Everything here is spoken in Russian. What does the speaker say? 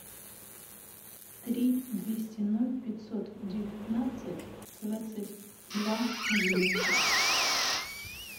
три двести ноль пятьсот девятнадцать двадцать два одиннадцать